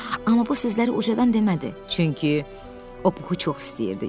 Amma bu sözləri ucadan demədi, çünki o puhu çox istəyirdi.